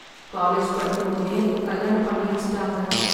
College படிக்கும்போதே எனக்கு கல்யாணம் பண்ணி வச்சிட்டாங்க.